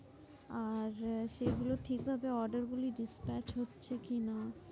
আর সেগুলো ঠিকভাবে order গুলি despatch হচ্ছে কি না